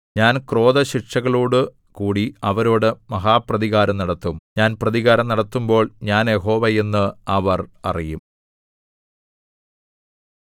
ഞാൻ ക്രോധശിക്ഷകളോടു കൂടി അവരോട് മഹാപ്രതികാരം നടത്തും ഞാൻ പ്രതികാരം നടത്തുമ്പോൾ ഞാൻ യഹോവ എന്ന് അവർ അറിയും